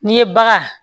N'i ye bagan